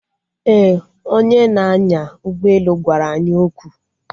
Ee, onye na-anya ụgbọelu gwara anyị okwu